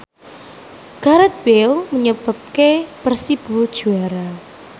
Gareth Bale nyebabke Persibo juara